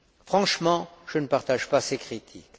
Franchement, je ne partage pas ces critiques.